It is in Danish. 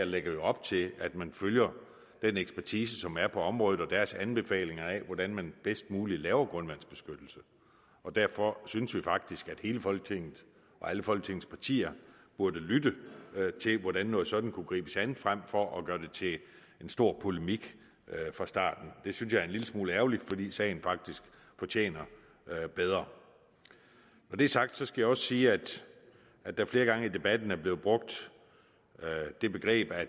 lægger op til at man følger den ekspertise som er på området og den anbefalinger af hvordan man bedst muligt laver grundvandsbeskyttelse derfor synes vi faktisk at hele folketinget og alle folketingets partier burde lytte til hvordan noget sådant kunne gribes an frem for at gøre det til en stor polemik fra starten det synes jeg er en lille smule ærgerligt fordi sagen faktisk fortjener bedre når det er sagt skal jeg også sige at at der flere gange i debatten er blevet brugt det begreb at